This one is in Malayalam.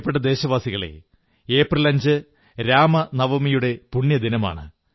പ്രിയപ്പെട്ട ദേശവാസികളേ ഏപ്രിൽ 5 ന് രാമനവമിയുടെ പുണ്യദിനമാണ്